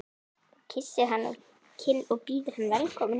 Hún kyssir hann á kinn og býður hann velkominn heim.